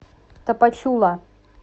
тапачула